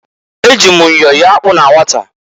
Eji m myọ yọọ akpụ na nwata.